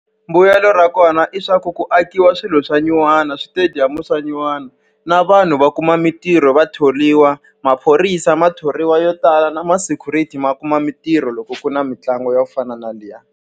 Mbuyelo ra kona hileswaku ku akiwa swilo swa nyuwana switediyamu swa nyuwana, na vanhu va kuma mintirho va thoriwa. Maphorisa ma thoriwa yo tala, na ma-security ma kuma mintirho loko ku na mitlangu yo fana na liya.